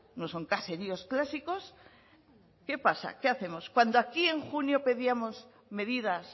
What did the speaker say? no son caseríos clásicos qué pasa qué hacemos cuando aquí en junio pedíamos medidas